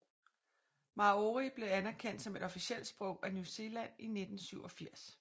Māori blev anerkendt som et officielt sprog af New Zealand i 1987